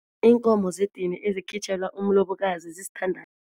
Iinkomo zedini ezikhitjhelwa umlobokazi